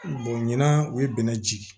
ɲina u ye bɛnɛ jigi